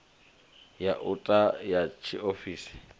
ya u ta ya tshiofisi